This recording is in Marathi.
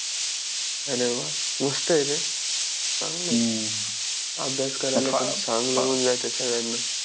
अरे वा मस्त आहे रे चांगलं आहे अभ्यास करायला चांगलं होऊन जातंय सगळ्यांना